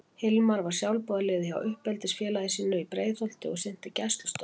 Hilmar var sjálfboðaliði hjá uppeldisfélagi sínu í Breiðholti og sinnti gæslustörfum.